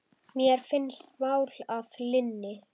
Mér finnst mál að linni.